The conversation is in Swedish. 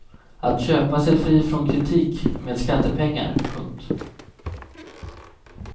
Att köpa sig fri från kritik med skattepengar. punkt